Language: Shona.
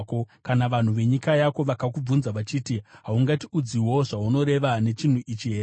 “Kana vanhu venyika yako vakakubvunza vachiti, ‘Haungatiudziwo zvaunoreva nechinhu ichi here?’